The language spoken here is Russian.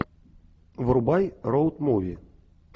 врубай роуд муви